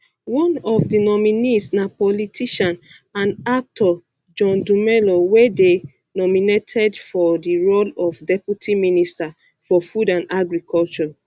one of di nominees na politician and actor john dumelo wey dey nominated for di role of deputy minister for food and agriculture